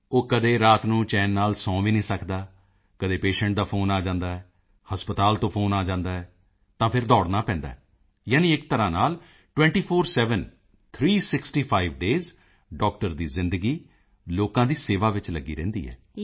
ਉਹ ਕਦੀ ਰਾਤ ਨੂੰ ਚੈਨ ਨਾਲ ਸੌਂ ਵੀ ਨਹੀਂ ਸਕਦਾ ਕਦੇ ਦਾ ਫੋਨ ਆ ਜਾਂਦਾ ਹੈ ਹਸਪਤਾਲ ਤੋਂ ਫੋਨ ਆ ਜਾਂਦਾ ਹੈ ਤਾਂ ਫਿਰ ਦੌੜਨਾ ਪੈਂਦਾ ਹੈ ਯਾਨੀ ਇਕ ਤਰ੍ਹਾਂ ਨਾਲ 24X7 three sixty five days doctor ਦੀ ਜ਼ਿੰਦਗੀ ਲੋਕਾਂ ਦੀ ਸੇਵਾ ਵਿੱਚ ਲੱਗੀ ਰਹਿੰਦੀ ਹੈ